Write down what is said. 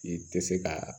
I tɛ se ka